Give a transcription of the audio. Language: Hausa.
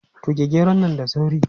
Tuge geron nan da sauri!